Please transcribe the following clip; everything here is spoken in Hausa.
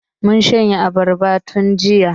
Mun shanye abarbar tun jiya.